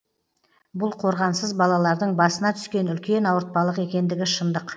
бұл қорғансыз балалардың басына түскен үлкен ауыртпалық екендігі шындық